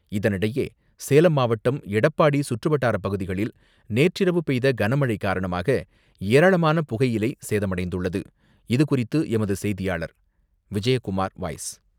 இதனிடையே சேலம் மாவட்டம், எடப்பாடி சுற்றுவட்டார பகுதிகளில் நேற்றிரவு பெய்த கனமழை காரணமாக, ஏராளமான புகையிலை சேதமடைந்துள்ளது. இது குறித்து நமது செய்தியாளர் விஜயகுமார் வாய்ஸ்,